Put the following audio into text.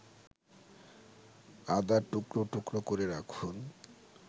আদা টুকরো টুকরো করে রাখুন